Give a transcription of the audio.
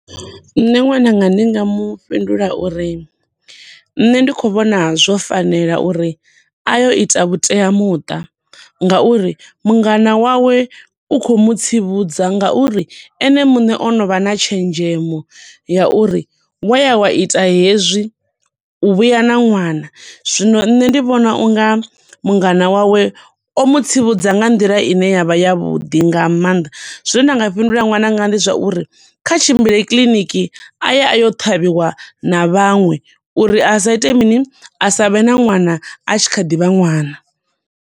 Nṋe ṅwananga ndi nga mu fhindula uri nṋe ndi khou vhona zwo fanela uri aye u ita vhuteamuṱa nga uri mungana wawe u khou mutsivhudza nga uri ene muṋe onovha na tshenzhemo ya uri wa ya wa ita hezwi, u vhuya na ṅwana. Zwino nṋe ndi vhona unga mungana wawe o mutsivhudza nga nḓila ine ya vha ya vhuḓi nga maanḓa. Zwine nda nga fhindula ṅwananga ndi zwa uri kha tshimbile kiḽiniki aye a yo ṱhavhiwa na vhaṅwe uri a sa ite mini, asa vhe na ṅwana a tshi kha ḓi vha ṅwana.